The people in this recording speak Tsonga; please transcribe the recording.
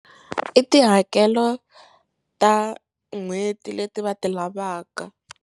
I tihakelo ta n'hweti leti va ti lavaka.